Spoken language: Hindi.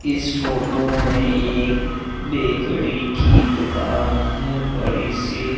इस फोटो में एक बेकड़ी की दुकान है बड़ी सी।